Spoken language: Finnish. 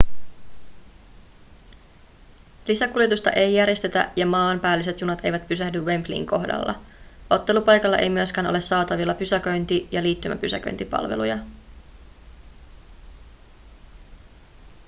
lisäkuljetusta ei järjestetä ja maanpäälliset junat eivät pysähdy wembleyn kohdalla ottelupaikalla ei myöskään ole saatavilla pysäköinti- ja liittymäpysäköintipalveluja